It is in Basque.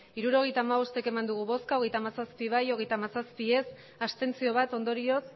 hirurogeita hamabost bai hogeita hamazazpi ez hogeita hamazazpi abstentzioak bat ondorioz